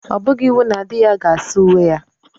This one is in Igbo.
Ọ bụghị iwu na di ya ga saa uwe ya.